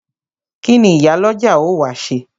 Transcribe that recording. Kíni Ìyálọ́jà ó wá ṣe?